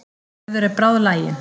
Gerður er bráðlagin.